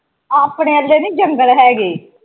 ਆਪਣੇ ਵਰਗੇ ਨਹੀਂ ਜੰਗਲ ਹੈਗੇ।